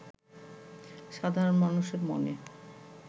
সাধারণ মানুষের মনে